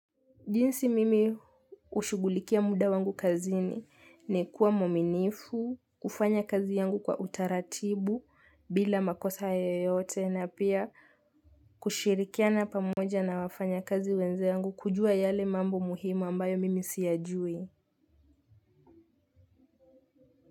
Jinsi mimi ushugulikia muda wangu kazini ni kuwa mwaminifu, kufanya kazi yangu kwa utaratibu bila makosa yoyote na pia kushirikiana pamoja na wafanya kazi wenze yangu kujua yale mambo muhimu ambayo mimi siyajui.